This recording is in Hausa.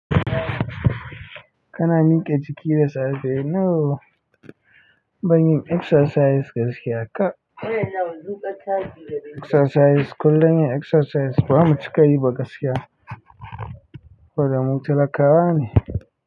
Kana miƙe jiki da safe? No, ban yin exercise gaskiya kaf, exercise kullum yin exercise ba mu cika yi ba gaskiya, saboda mu talakawa ne.